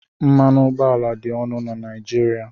Mmanụ ụgbọala dị ọnụ na Naijiria